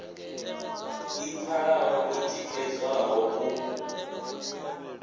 i pfalaho i tikedzwaho u